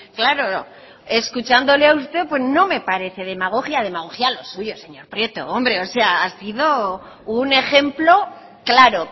claro escuchándole a usted pues no me parece demagogia demagogia lo suyo señor prieto hombre o sea ha sido un ejemplo claro